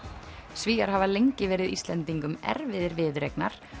Svíar hafa lengi verið Íslendingum erfiðir viðureignar